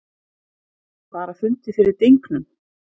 Bara fundið fyrir dynknum.